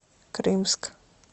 крымск